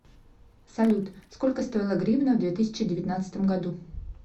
салют сколько стоила гривна в две тысячи девятнадцатом году